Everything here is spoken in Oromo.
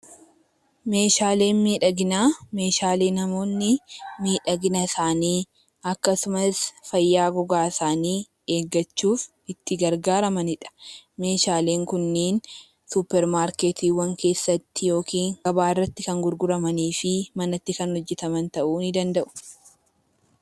Meeshaaleen miidhaginaa meeshaalee namoonni miidhagina isaanii akkasumas fayyaa gogaa isaanii eeggachuuf itti gargaaramani dha. Meeshaaleen kunneen Suupermaarketiiwwan keessatti yookiin gabaa irratti kan gurguramanii fi manatti kan hojjetaman ta'uu ni danda'u.